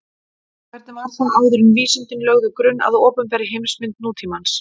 Hvernig var það þá áður en vísindin lögðu grunn að opinberri heimsmynd nútímans?